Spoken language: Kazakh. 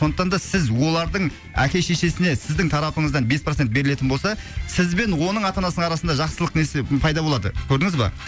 сондықтан да сіз олардың әке шешесіне сіздің тарапыңыздан бес процент берілетін болса сізбен оның ата анасының арасында жақсылық несі пайда болады көрдіңіз ба